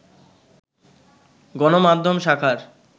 গণমাধ্যম শাখার